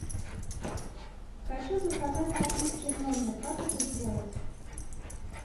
хочу заказать напитки в номер как это сделать